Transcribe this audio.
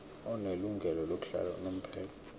onelungelo lokuhlala unomphela